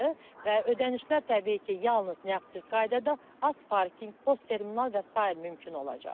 Və ödənişlər təbii ki, yalnız nəğdsiz qaydada azparking, postterminal və sair mümkün olacaq.